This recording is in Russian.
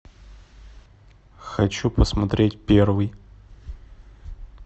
хочу посмотреть первый